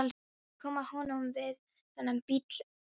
Ég kom að honum við þennan bíl hérna.